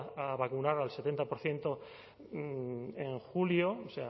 a vacunar al setenta por ciento en julio o